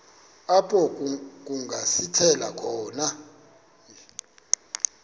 apho kungasithela khona